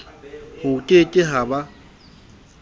ho ke ke ha ba